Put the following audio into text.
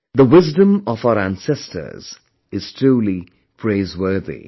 The wisdom of our ancestors is truly praiseworthy